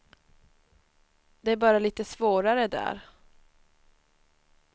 Det är bara lite svårare där.